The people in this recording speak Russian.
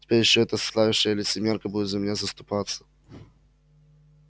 теперь ещё эта слащавая лицемерка будет за меня заступаться